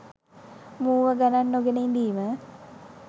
මූව ගණන් නොගෙන ඉඳීම.